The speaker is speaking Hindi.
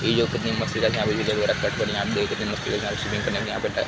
ये जो है कितनी मस्त जगह है। यहाँ पे यहाँ पे देखिये कितनी मस्त जगह है। यहाँ पे स्विमिंग करने के लिए यहाँ पे ट --